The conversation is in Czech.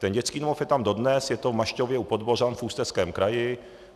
Ten dětský domov je tam dodnes, je to v Mašťově u Podbořan v Ústeckém kraji.